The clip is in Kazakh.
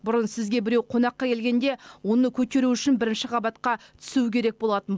бұрын сізге біреу қонаққа келгенде оны көтеру үшін бірінші қабатқа түсу керек болатын